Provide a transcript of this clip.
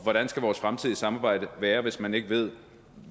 hvordan skal vores fremtidige samarbejde være hvis man ikke ved